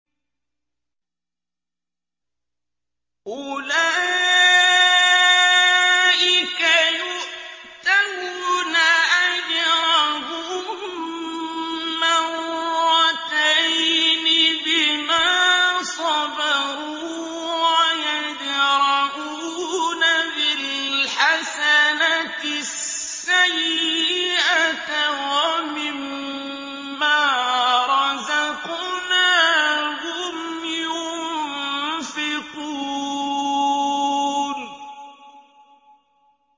أُولَٰئِكَ يُؤْتَوْنَ أَجْرَهُم مَّرَّتَيْنِ بِمَا صَبَرُوا وَيَدْرَءُونَ بِالْحَسَنَةِ السَّيِّئَةَ وَمِمَّا رَزَقْنَاهُمْ يُنفِقُونَ